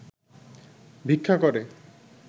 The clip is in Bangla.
ভিক্ষা করে